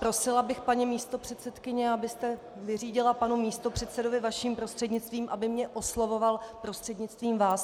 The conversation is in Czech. Prosila bych, paní místopředsedkyně, abyste vyřídila panu místopředsedovi vaším prostřednictvím, aby mě oslovoval prostřednictvím vás.